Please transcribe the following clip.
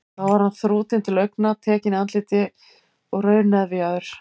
Þó var hann þrútinn til augna, tekinn í andliti og rauðnefjaður.